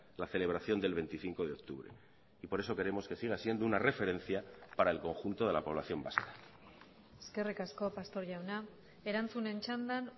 la celebración del veinticinco de octubre y por eso queremos que siga siendo una referencia para el conjunto de la población vasca eskerrik asko pastor jauna erantzunen txandan